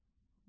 Qonaq.